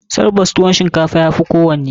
Tabbas, tuwon shinkafa ya fi kowanne.